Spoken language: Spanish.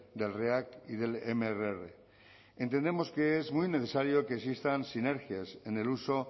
del react y del mrr entendemos que es muy necesario que existan sinergias en el uso